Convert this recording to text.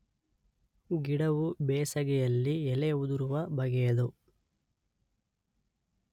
ಗಿಡವು ಬೇಸಗೆಯಲ್ಲಿ ಎಲೆ ಉದುರುವ ಬಗೆಯದು